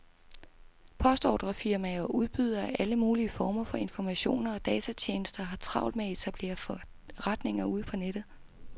Postordrefirmaer og udbydere af alle mulige former for informationer og datatjenester har travlt med at etablere forretninger på nettet.